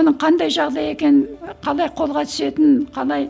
оның қандай жағдай екенін қалай қолға түсетінін қалай